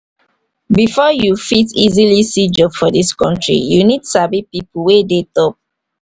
before you fit easily see job for this country you need sabi people wey dey top